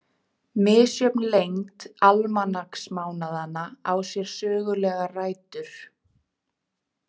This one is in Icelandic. Misjöfn lengd almanaksmánaðanna á sér sögulegar rætur.